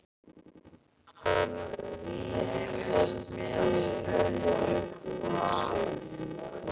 Hann rígheldur henni upp við sig.